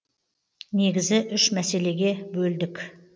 негізі үш мәселеге бөлдік